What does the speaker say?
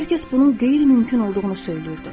Hər kəs bunun qeyri-mümkün olduğunu söyləyirdi.